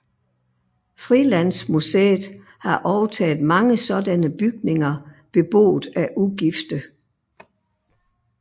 Frilandsmuseet har overtaget mange sådanne bygninger beboet af ugifte